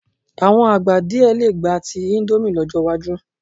Àwọn àgbà díẹ̀ lè gba ti íńdómì lọ́jọ́ iwájú.